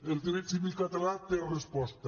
el dret civil català té resposta